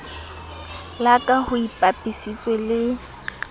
la ka ho ipapisitswe le